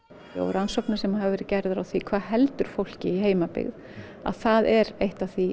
og rannsóknir sem hafa verið gerðar á því hvað heldur fólki í heimabyggð það er eitt af því